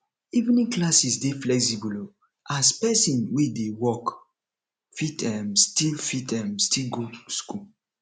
evening classes dey flexible um as person wey dey work fit um still fit um still go school